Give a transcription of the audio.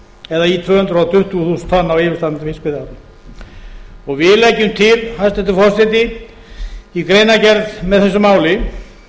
eða í tvö hundruð tuttugu þúsund tonn á yfirstandandi fiskveiðiári við leggjum til hæstvirtur forseti í greinargerð með þessu máli